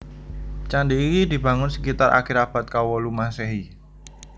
Candi iki dibangun sekitar akhir abad kawolu Maséhi